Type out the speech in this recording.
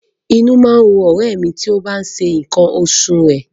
Inú má ń run ọ̀rẹ́ ẹ̀ mi tí ó bá tí ń ṣe nǹkan oṣù rẹ̀